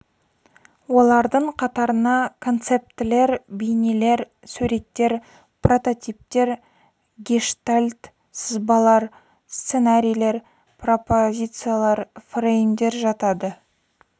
олардың қатарына концептілер бейнелер суреттер прототиптер гештальт сызбалар сценарийлер пропозициялар фреймдер жатады